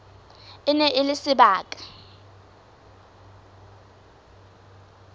e ne e le sebaka